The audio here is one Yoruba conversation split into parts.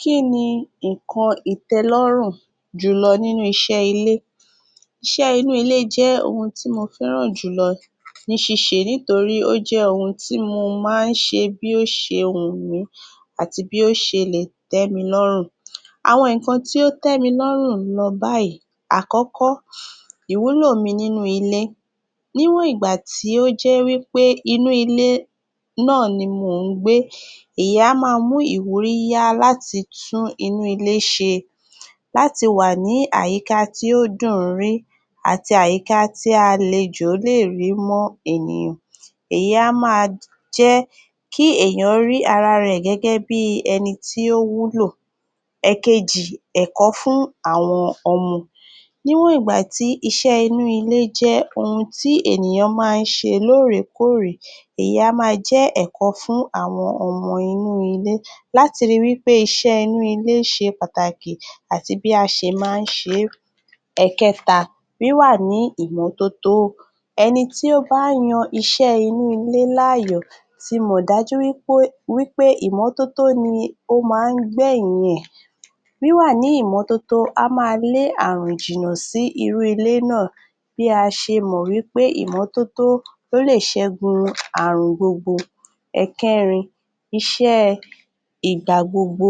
Kini nkan itẹlọrun jùlọ ninu iṣẹ́ ilé? Iṣẹ́ inú ilé jẹ́ ohun tí mo feràn jùlọ ní sise nítorí ó jẹ́ ohun tí mo máa ń ṣe bí ó ṣe wun mi àti bí ó ṣe lẹ́ẹ̀ tí mí lórùn. Àwọn nkan tí ó tẹ mí lórùn ló báyìí: Àkọ́kọ́, ìwulómí inú ilé. Níwon ìgbà tí ó jẹ́ pé inú ilé náà ni mo ń gbé, ẹ̀yà máa mú ìwúrí yá láti tún inú ilé ṣe, láti wà ní àyíká tí ó dùn rí àti àyíká tí a lè jọ le rímú ènìyàn. Ẹ̀yi a máa jẹ́ kí ènìyàn rí ara rẹ̀ gẹ́gẹ́ bí ẹni tí ó wúlò. Èkejì, ẹ̀kọ́ fún àwọn ọmọ. Níwon ìgbà tí iṣẹ́ inú ilé jẹ́ ohun tí ènìyàn máa ń ṣe lórèkọrè, ẹ̀yi a máa jẹ́ ẹ̀kọ́ fún àwọn ọmọ inú ilé, láti rí wípé iṣẹ́ṣẹ́ inú ilé ṣe pàtàkì àti bí a ṣe máa ń ṣe. Èkẹta, wiwà ní ìmótótó. Ẹni tí ó bá yàn iṣẹ́ inú ilé l'áyọ̀ tí mo dájú wípé ìmótótó ni o máan gbé yin e. Wí wà ní ìmótótó, a máa lè ààrùn jìná sí irú ilé náà bí a ṣe mọ̀ wipé ìmótótó ló lè ṣègun ààrùn gbogbo. Èkèrin, iṣẹ́ ìgbàgbogbo.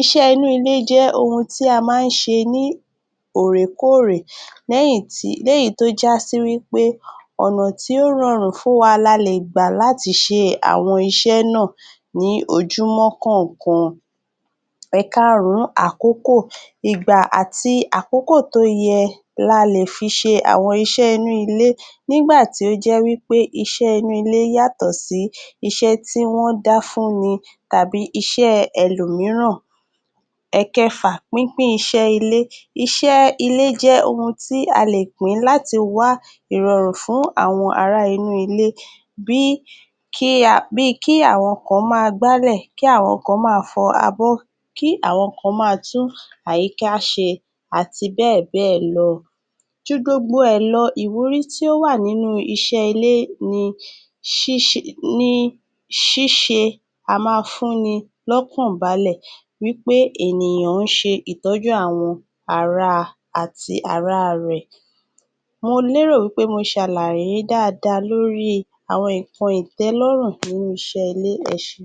Iṣẹ́ inú ilé jẹ́ ohun tí a máa ń ṣe ní orèkọrè lẹ́yì tí ó já sí wipé ọ̀nà tí ó rorun funwá lálẹ́ gbà láti ṣe àwọn iṣẹ́ náà ní ojúmọ́ kọọkan. Èkarùn, àkókò. Igba ati akoko tó yé lále fi ṣe àwọn iṣẹ́ inú ilé. Nígbà tí ó jẹ́ wipé iṣẹ́ inú ilé yàtọ̀ sí iṣẹ́ tí wọ́n dá fún mi tàbí iṣẹ́ ẹlòmíìràn. Èkèfà, pínpín iṣẹ́ ilé. Iṣẹ́ ilé jẹ́ ohun tí a lè pín láti wá ìrọ̀rùn fún àwọn ará inú ilé, bí kí àwọn kan máa gbálẹ̀, kí àwọn kan máa fọ àbọ̀, kí àwọn kan máa tún àyíká ṣe àti bẹ́ẹ̀ bẹ́ẹ̀ lọ. Júgbogbò rẹ́ẹ̀ lọ, ìwúrí tí ó wà nínú iṣẹ́ ilé ní ṣíṣe a máa fúnni lọ́kan bálẹ̀, wípé ènìyàn ń ṣe ìtọju àwọn ará àti ara rẹ̀. Mo lérò pé mo ṣàlàyé dáadáa lórí àwọn nkan itẹlọrun nínú iṣẹ́ ilé, ẹṣe.